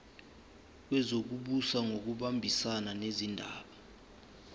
wezokubusa ngokubambisana nezindaba